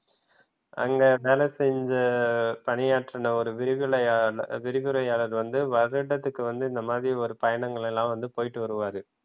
அங்க வேலை செஞ்ச பணியாற்றின ஒரு விரிவுரையாளர் வந்து வருடத்திற்கு வந்து இந்த மாதிரி ஒரு பயணங்கள் எல்லாம் போயிட்டு வருவாரு.